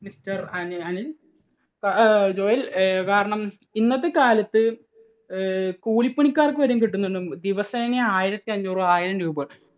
Mister Ani Anil ഏർ Joel കാരണം അഹ് ഇന്നത്തെ കാലത്ത് കൂലിപ്പണിക്കാർക്ക് വരെ കിട്ടുന്നുണ്ട് ദിവസേന ആയിരത്തി അഞ്ഞൂറ്, ആയിരം രൂപ.